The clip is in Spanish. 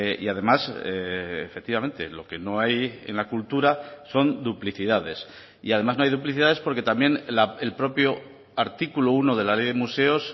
y además efectivamente lo que no hay en la cultura son duplicidades y además no hay duplicidades porque también el propio artículo uno de la ley de museos